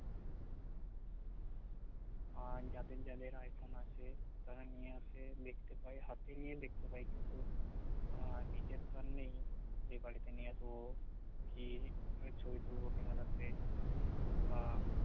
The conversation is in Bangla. আর যাদের যাদের আইফোন আছে তারা নিয়ে আসে দেখতে পাই হাতে নিয়ে দেখতে পাই কিন্তু আহ নিজের তো আর নেই যে বারিতে নিয়ে আসব কি ছবি তুলবো ক্যামেরা তে বা